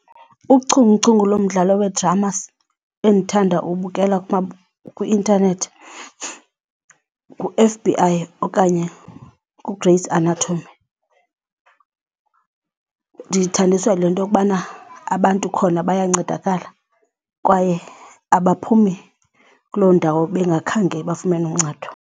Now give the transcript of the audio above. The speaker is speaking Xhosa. Uchunguchungu lomdlalo wedrama endithanda ukuwubukela kwi-intanethi ngu-F_B_I okanye nguGrey's Anatomy. Ndiyithandiswa yile nto yokubana abantu khona bayancedakala kwaye abaphumi kuloo ndawo bengakhange bafumane uncedo.